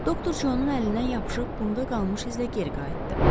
Doktor Conun əlindən yapışıb qumda qalmış izlə geri qayıtdı.